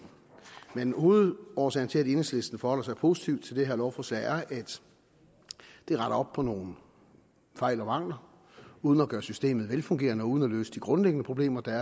men hovedårsagen til at enhedslisten forholder sig positivt til det her lovforslag er at det retter op på nogle fejl og mangler uden at gøre systemet velfungerende og uden at løse de grundlæggende problemer der